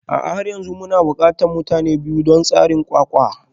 A'a har yanzu muna buƙatar mutane biyu don tseren ƙwaƙƙwa